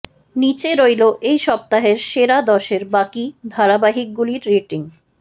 নীচে রইল এই সপ্তাহের সেরা দশের বাকি ধারাবাহিকগুলির রেটিং